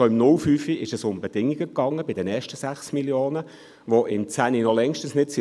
Schon im Jahr 2005, bei den ersten 6 Mio. Franken, ging es um Bedingungen, die im 2010 noch längst nicht erfüllt waren;